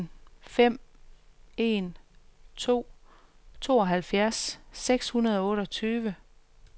en fem en to tooghalvfjerds seks hundrede og otteogtyve